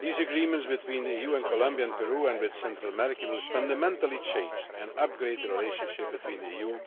These agreements, between the EU and Colombia and Peru, and between the EU and Central America, will fundamentally change and upgrade the relationship between the EU